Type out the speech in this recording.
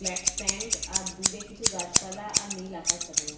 black pant আর দূরে কিছু গাছপালা আর নীল আকাশ দেখা যা--